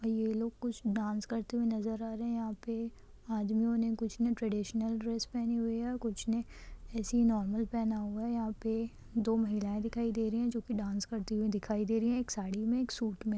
ये लोग कुछ डांस करते हुए नजर रहे है यहाँ पे आदमियों ने कुछ ने ट्न्डिशनल ड्रेस पेहनी हुई है और कुछ ने ऐसे ही नॉर्मल पेहना हुआ है यहाँ पे दो महिलाए दिखाई दे रही है जो की डांस करती हुई दिखाई दे रही एक साड़ी में एक सूट में |